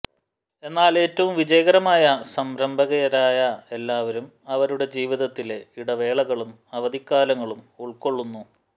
എന്നാൽ ഏറ്റവും വിജയകരമായ സംരംഭകരായ എല്ലാവരും അവരുടെ ജീവിതത്തിലെ ഇടവേളകളും അവധിക്കാലങ്ങളും ഉൾക്കൊള്ളുന്നു